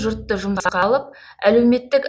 жұртты жұмысқа алып әлеуметтік